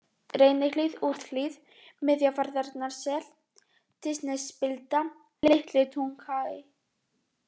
Reynihlíð Úthlíð, Miðfjarðarnessel, Dysnesspilda, Litli-Dunhagi